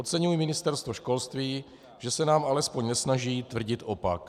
Oceňuji Ministerstvo školství, že se nám alespoň nesnaží tvrdit opak.